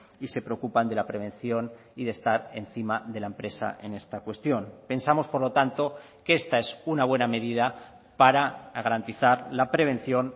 y se preocupan de la prevención y de estar encima de la empresa en esta cuestión pensamos por lo tanto que esta es una buena medida para garantizar la prevención